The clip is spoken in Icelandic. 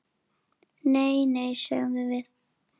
Nei, nei, sögðum við.